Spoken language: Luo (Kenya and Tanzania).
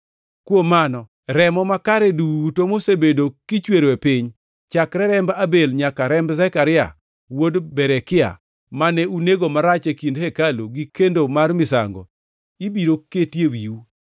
Kuom mano, remo makare duto mosebedo kichwero e piny, chakre remb Abel nyaka remb Zekaria wuod Berekia, mane unego marach e kind hekalu gi kendo mar misango, ibiro keti ewiu.